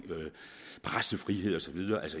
pressefrihed og så videre